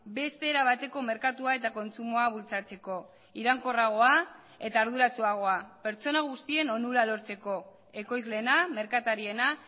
beste era bateko merkatua eta kontsumoa bultzatzeko iraunkorragoa eta arduratsuagoa pertsona guztien onura lortzeko ekoizleena merkatariena